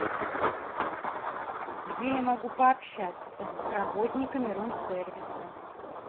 где я могу пообщаться с работниками рум сервиса